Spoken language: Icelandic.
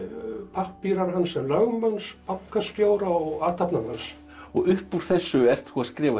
pappírar hans sem lögmanns bankastjóra og athafnamanns og upp úr þessu ert þú að skrifa